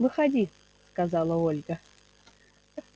выходи сказала ольга